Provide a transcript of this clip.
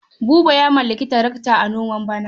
Buba ya mallaki tarakata a noman bana.